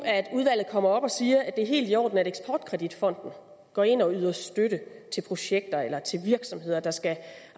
udvalget kommer og siger at det er helt i orden at eksport kredit fonden går ind og yder støtte til projekter eller virksomheder der skal